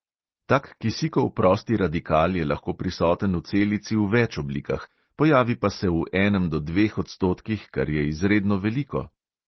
Tak kisikov prosti radikal je lahko prisoten v celici v več oblikah, pojavi pa se v enem do dveh odstotkih, kar je izredno veliko.